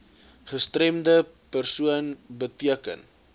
gestremde persoon beteken